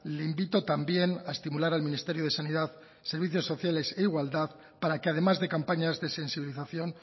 le invito también a estimular al ministerio de sanidad servicios sociales e igualdad para que además de campañas de sensibilización